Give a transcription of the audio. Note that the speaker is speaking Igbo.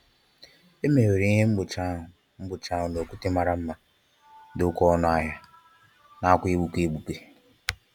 E mewere ihe mgbochi ahụ mgbochi ahụ n'okwute mara mma ma dị oke ọnụ ahia, nakwa egbuke egbuke.